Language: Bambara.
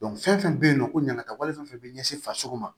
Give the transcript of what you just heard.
fɛn fɛn bɛ yen nɔ ko ɲangata wale fɛn fɛn bɛ ɲɛsin farisoko ma